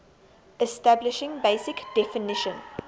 establishing basic definition